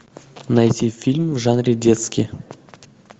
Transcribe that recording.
найти фильм в жанре детский